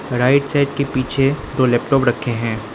Right side के पीछे तो लैपटॉप रखे है।